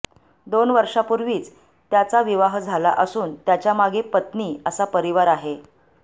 दोन वर्षापुर्वीच त्याचा विवाह झाला असून त्याच्यामागे पत्नी असा परिवार आहे